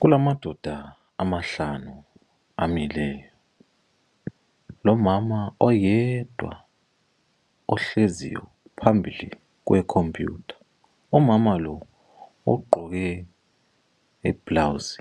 Kulamandoda amahlanu amileyo lomama oyedwa ohleziyo phambi kwecomputha. Umama lo ugqoke iblawuzi